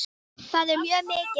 Það er mjög mikið.